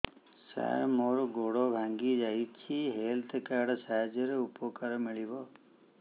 ସାର ମୋର ଗୋଡ଼ ଭାଙ୍ଗି ଯାଇଛି ହେଲ୍ଥ କାର୍ଡ ସାହାଯ୍ୟରେ ଉପକାର ମିଳିବ